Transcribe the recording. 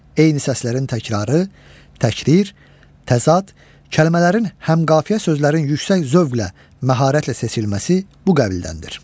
Eyni səslərin təkrarı, təkrir, təzad, kəlmələrin həmqafiyə sözlərin yüksək zövqlə, məharətlə seçilməsi bu qəbildəndir.